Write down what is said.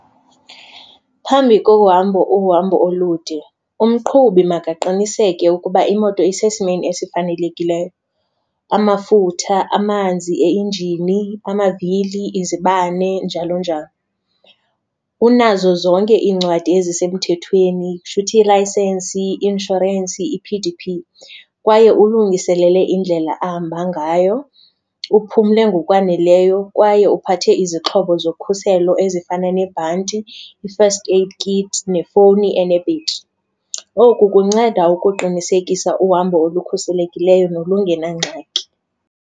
Phambi kohamba uhambo olude umqhubi makaqiniseke ukuba imoto isesimeni esifanelekileyo, amafutha, amanzi enjini, amavili, izibane, njalo njalo. Unazo zonke iincwadi ezisemthethweni, kusho uthi ilayisensi, i-inshorensi, i-P_D_P. Kwaye ulungiselele indlela ahamba ngayo, uphumle ngokwaneleyo kwaye uphathe izixhobo zokhuselo ezifana nebhanti, i-first aid kit nefowuni enebhetri. Oku kunceda ukuqinisekisa uhambo olukhuselekileyo nolungenangxaki.